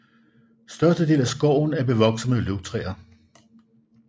Størstedelen af skoven er bevokset med løvtræer